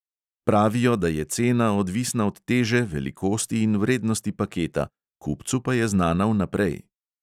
Pravijo, da je cena odvisna od teže, velikosti in vrednosti paketa, kupcu pa je znana vnaprej.